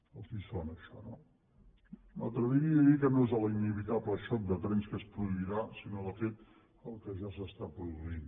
els sona això no m’atreviria a dir que no és l’inevitable xoc de trens que es produirà sinó de fet el que ja s’està produint